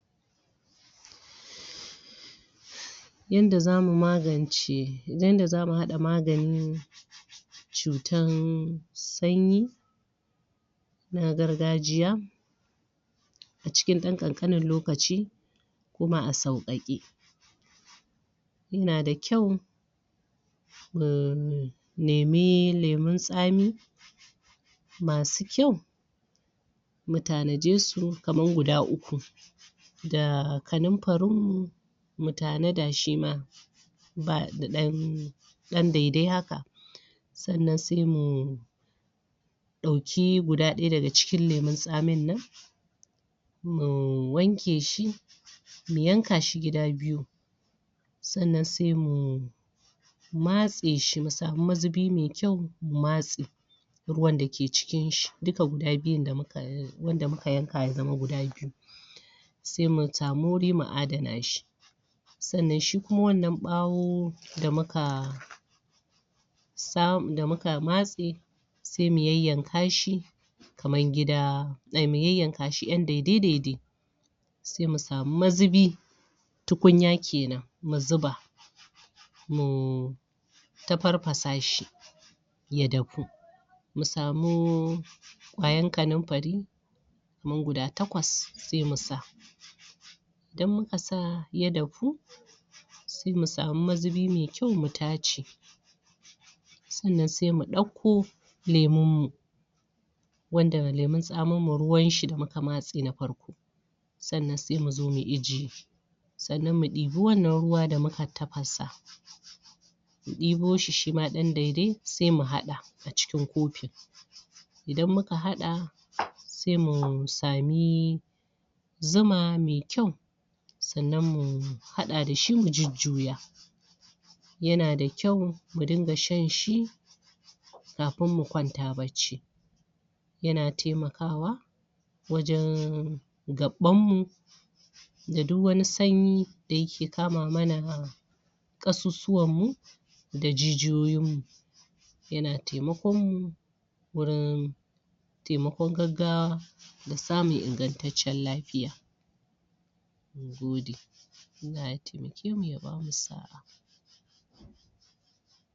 Yanda zamu magance Yanda zamu haɗa maganin ciwon sanyi na gargajiya. a cikin ɗan ƙanƙanin lokaci kuma a sauƙaƙe yana da ƙyau mu nemi lemon tsami masu kyau mu tanaje su kamar guda uku da kanunfarinmu mu tanada shi ma. ba da ɗdan dai-dai haka. sannan sai mu ɗauki guda ɗaya daga cikin lemun tsamin nan, mu wanke shi mu yanka shi gida biyu sannan sai mu matse shi mu samu mazubi mai kyau mu matse. ruwan da ke cikinshi duka guda biyun da muka wanda muka yanka ya zama guda biyu sai mu samu wuri mu adana shi sannan shi kuma wanna ɓawo da muka sa da muka matsa sai mu yayyanka shi kamar gida, mu yayyanka shi dai ƴan dai-dai-dai-dai sai mu samu mazubi tukunya ke nan mu zuba mu tafarfasa shi ya dafu mu samu ƙwayan kanumfari kamar guda takwas sai mu sa idan muka sa ya dafu, sai mu samu mazubi mai kyau mu tace sannan sai muɗakko lemunmu wanda lemun tsaminmu ruwanshi da muka matse na farko. sannan sai muzo mu ajiye. sannan muɗibi wanna ruwa da muka tafasa mu ɗibo shi shima ɗan dai-dai sai mu haɗa a cikin kofi idan muka haɗa sai mu sami zuma mai kyau sannan mu haɗa da shi mu jujjuya yana da kyau mu dinga shanshi kafin mu kwanta bacci yana taimakawa wajen gaɓɓanmu da duk wani sanyi da yake kama mana ƙasusuwanmu da jijiyoyinmu. yana taimakonmu gurin taimakon gaggawa da samun ingantaccen lafiya na gode Allah ya taimake mu ya ba mu sa'a